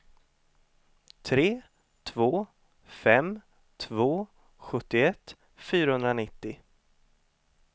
tre två fem två sjuttioett fyrahundranittio